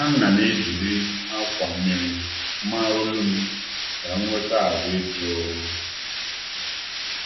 A na'm eji akwa mmiri oyi bie n'olu m ka ahụ jụọ